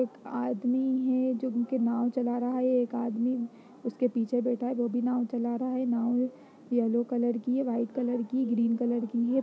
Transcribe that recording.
एक आदमी है जो कि नाव चल रहा है। ये एक आदमी उसके पीछे बैठा है। वो भी नाव चला रहा है। नाव येलो कलर की है वाइट कलर की है ग्रीन कलर है।